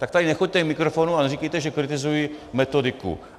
Tak tady nechoďte k mikrofonu a neříkejte, že kritizuji metodiku.